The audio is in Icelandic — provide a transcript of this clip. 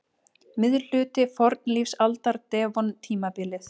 Miðhluti fornlífsaldar- devon-tímabilið.